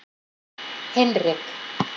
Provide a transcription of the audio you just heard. Hinrik